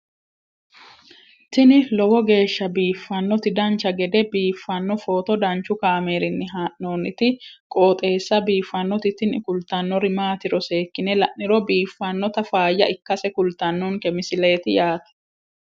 tini lowo geeshsha biiffannoti dancha gede biiffanno footo danchu kaameerinni haa'noonniti qooxeessa biiffannoti tini kultannori maatiro seekkine la'niro biiffannota faayya ikkase kultannoke misileeti yaate